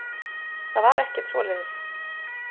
Það var ekkert svoleiðis.